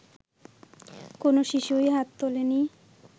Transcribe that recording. কোন শিশুই হাত তোলেনি